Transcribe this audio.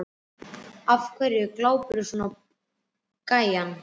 Af hverju glápirðu svona á gæjann?